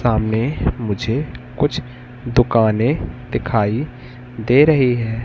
सामने मुझे कुछ दुकाने दिखाई दे रही है।